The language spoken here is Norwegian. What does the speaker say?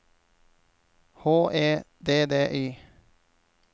H E D D Y